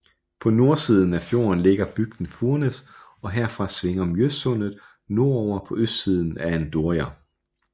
På nordsiden af fjorden ligger bygden Furnes og herfra svinger Mjøssundet nordover på østsiden af Andørja